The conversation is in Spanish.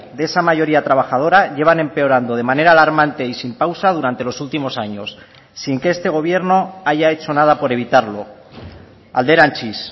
de esa mayoría trabajadora llevan empeorando de manera alarmante y sin pausa durante los últimos años sin que este gobierno haya hecho nada por evitarlo alderantziz